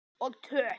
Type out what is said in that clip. Og töff.